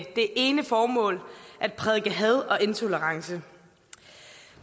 det ene formål at prædike had og intolerance